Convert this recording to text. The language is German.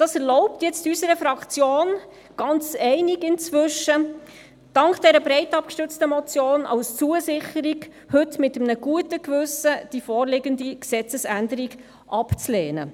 Das erlaubt unserer Fraktion – dank dieser breit abgestützten Motion als Zusicherung inzwischen ganz einig –, heute mit einem guten Gewissen die vorliegende Gesetzesänderung abzulehnen;